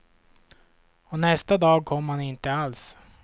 Och nästa dag kom han inte alls.